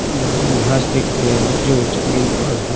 घास देख रहे हैं जो जमीन पर है।